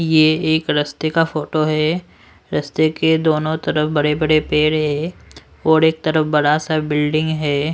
ये एक रस्ते का फोटो है रस्ते के दोनों तरफ बड़े बड़े पेड़ है और एक तरफ बड़ासा बिल्डिंग हैं।